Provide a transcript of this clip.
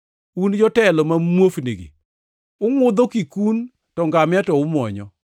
Un jotelo ma muofnigi! Ungʼudho kikun to ngamia to umuonyo!